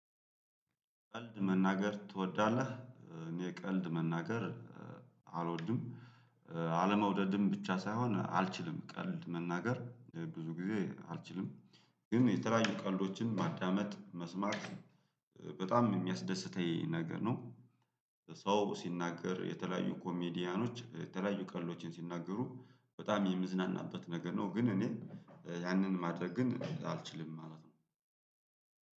ቀልድ መናገር ትወዳለህ? እኔ የቀልድ መናገር አልወድም። አለመውደድም ብቻ ሳይሆን አልችልም ቀልድ መናገር ብዙ ጊዜ አልችልም፤ ግን የተለያዩ ቀልዶችን ማዳመጥ መስማት በጣም የሚያስደስተኝ ነገር ነው ሰው ሲናገር የተለያዩ ኮሜዲያኖች የተለያዩ ቀልዶችን ሲናገሩ በጣም የምዝናናበት ነገር ነው። ግን እኔ ያንን ማድረግ ግን አልችልም ማለት ነው